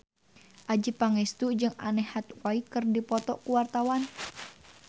Adjie Pangestu jeung Anne Hathaway keur dipoto ku wartawan